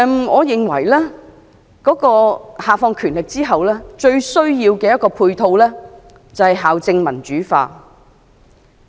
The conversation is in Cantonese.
我認為教育局下放權力後，最需要的配套是校政民主化。